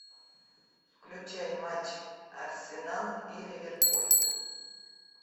включай матч арсенал и ливерпуль